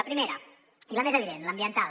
la primera i la més evident l’ambiental